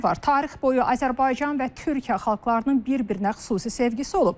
Tarix boyu Azərbaycan və Türkiyə xalqlarının bir-birinə xüsusi sevgisi olub.